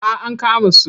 Ah ankama su.